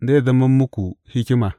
Zai zama muku hikima.